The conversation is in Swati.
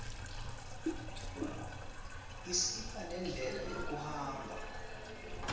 isipha nendlela yekuhamba